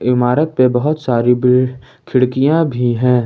इमारत पर बहुत सारी ब खिड़कियां भी हैं।